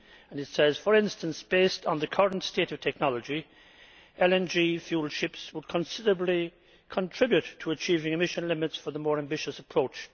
It says, for instance, that based on the current state of technology, LNG fuel ships would considerably contribute to achieving emission limits for the more ambitious approach.